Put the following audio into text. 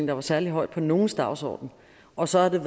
lå særlig højt på nogens dagsorden og så har